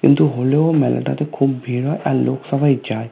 কিন্তু হলেও মেলা টা তে খুব ভিড় হয় আর লোক সবাই যায়